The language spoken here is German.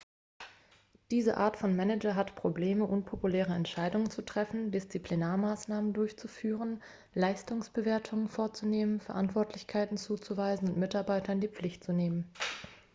diese art von manager hat probleme unpopuläre entscheidungen zu treffen disziplinarmaßnahmen durchzuführen leistungsbewertungen vorzunehmen verantwortlichkeiten zuzuweisen und mitarbeiter in die pflicht zu nehmen